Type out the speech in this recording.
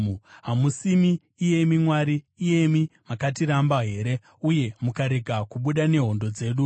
Hamusimi, iyemi Mwari, iyemi makatiramba here, uye mukarega kubuda nehondo dzedu?